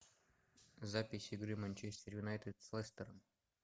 запись игры манчестер юнайтед с лестером